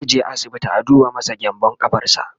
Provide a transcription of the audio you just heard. zaije asibiti a duba masa gyanbun ƙafarsa